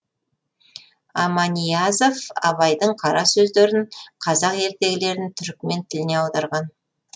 аманиязов абайдың қара сөздерін қазақ ертегілерін түрікмен тіліне аударған